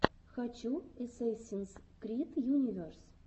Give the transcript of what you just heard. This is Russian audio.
хочу эсэсинс крид юнивес